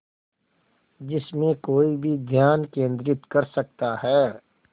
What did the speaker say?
जिसमें कोई भी ध्यान केंद्रित कर सकता है